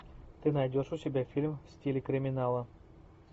ты найдешь у себя фильм в стиле криминала